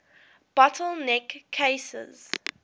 bottle neck cases